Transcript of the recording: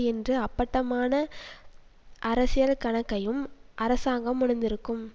என்ற அப்பட்டமான அரசியல் கணக்கையும் அரசாங்கம் உணர்ந்திருக்கும்